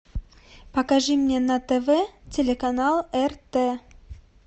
покажи мне на тв телеканал рт